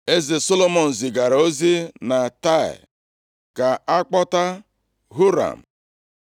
Eze Solomọn zigara ozi na Taịa, ka a kpọta Huram.